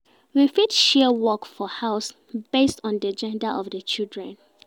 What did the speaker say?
We fit share work for house based on di gender of di children